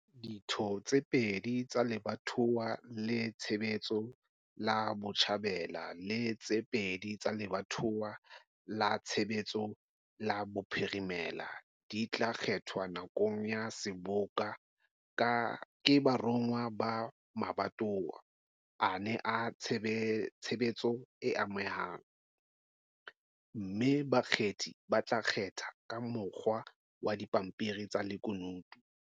Ditho tse 2 pedi tsa lebatowa la tshebetso la Botjhabela le tse 2 pedi tsa lebatowa la tshebetso la Bophirimela di tla kgethwa nakong ya Seboka ke baromuwa ba mabatowa ana a tsbebetso a amehang, mme bakgethi ba tla kgetha ka mokgwa wa dipampiri tsa lekunutu ballot papers.